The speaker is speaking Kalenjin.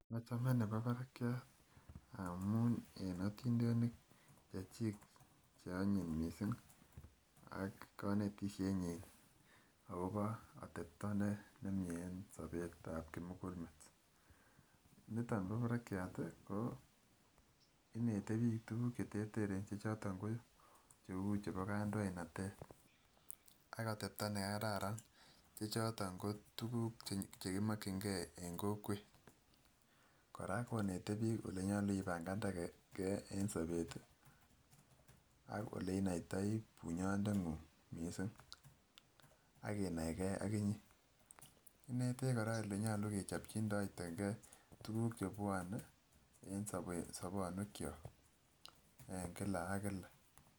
Ochomre nebo barakyat amun en otindenik che chik che onyin missing ak konetisyen nyin akopo atepto nemie en sobet ab kimukulmet, niton bo barakyat ko inete bik tukuk cheterteren che choton ko cheu chebo kandoinatet ak atepto nekararan che choton ko tukuk chekimokin gee en kokwet, koraa konete bik olenyolu ibankande gee en sobetii, ak ole inoitoi bunyondenguny missing ak inai gee ok inyee inetech koraa olenyolu kechopjindegee tukuk chepwone en sobonywek kyok en kila ak kila.